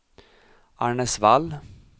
Arnäsvall